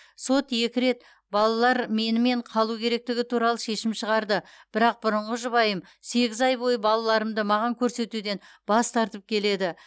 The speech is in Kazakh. сот екі рет балалар менімен қалу керектігі туралы шешім шығарды бірақ бұрынғы жұбайым сегіз ай бойы балаларымды маған көрсетуден бас тартып келеді